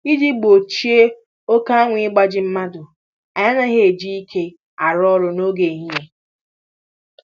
Iji gbochie oke anwụ igbaji mmadụ, anyị anaghị eji ike arụ ọrụ n'oge ehihie